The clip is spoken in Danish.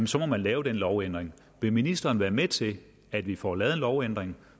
så må man lave den lovændring vil ministeren være med til at vi får lavet en lovændring